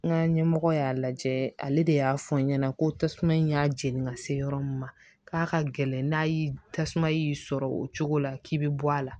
N ka ɲɛmɔgɔ y'a lajɛ ale de y'a fɔ n ɲɛna ko tasuma in y'a jeni ka se yɔrɔ min ma k'a ka gɛlɛn n'a y'i tasuma y'i sɔrɔ o cogo la k'i be bɔ a la